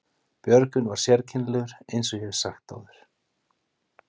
Björgvin var sérkennilegur eins og ég hef áður sagt.